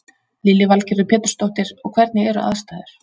Lillý Valgerður Pétursdóttir: Og hvernig eru aðstæður?